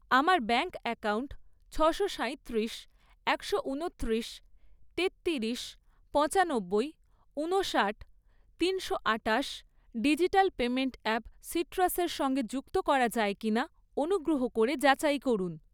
আমার bank account ছশো সাঁইত্রিশ, একশো ঊনত্রিশ, তেত্তিরিশ, পঁচানব্বই, উনষাট, তিনশো আটাশ ডিজিটাল পেমেন্ট অ্যাপ সিট্রাসের সঙ্গে যুক্ত করা যায় কিনা অনুগ্রহ করে যাচাই করুন।